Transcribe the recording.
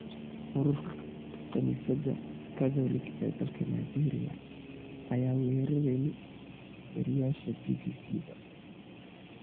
Ururka kanisadha Katholiq ee dalka Naajeria aya warereni wariyasha bibisidha.